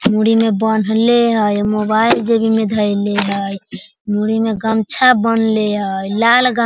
मुड़ी में बांधले हेय मोबाइल जेबी में धेएले हेय मुड़ी में गमछा बांधले हेय लाल गम --